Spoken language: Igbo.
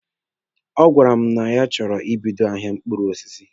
A gwara mụ ya na achọrọ m ibido ahịa mkpụrụ osisi.